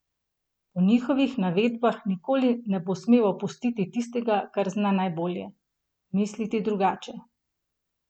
Po njihovih navedbah nikoli ne bo smel opustiti tistega, kar zna najbolje: "Misliti drugače".